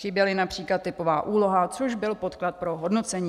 Chyběla například typová úloha, což byl podklad pro hodnocení.